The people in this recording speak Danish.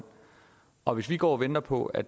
og hvis vi går og venter på at